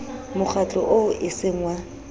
mokgatlo oo e seng wa